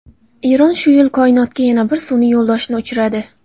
Eron shu yil koinotga yana bir sun’iy yo‘ldoshni uchiradi.